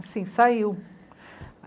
Assim, saiu.